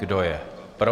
Kdo je pro?